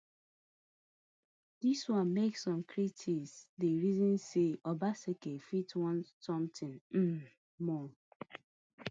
dis wan make some critics dey reason say obaseki fit want sometin um more